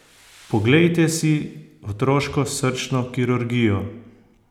Poglejte si otroško srčno kirurgijo!